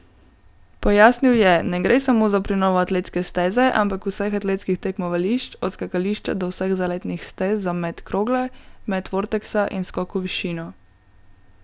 Pojasnil je: 'Ne gre samo za prenovo atletske steze, ampak vseh atletskih tekmovališč, od skakališča, do vseh zaletnih stez za met krogle, met vorteksa in skok v višino.